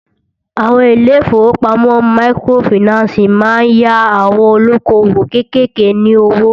Àwọn ilé ìfọwọ́pamo microfinancii má ń yá àwon olókoòwò kékèké ní owó.